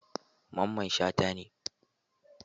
Mamman shata ne.